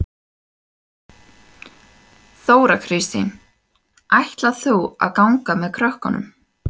Þóra Kristín: Ætlar þú að ganga með krökkunum?